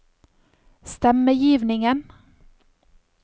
stemmegivningen